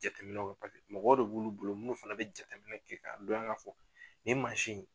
Jateminɛw la. Mɔgɔw de b'ulu bolo munnu fana be jateminɛw kɛ ka dɔn ya ka fɔ nin in